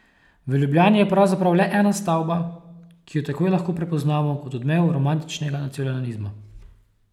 V Ljubljani je pravzaprav le ena stavba, ki jo takoj lahko prepoznamo kot odmev romantičnega nacionalizma.